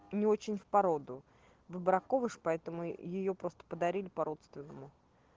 не очень в породу выбраковыш поэтому её просто подарили по-родственному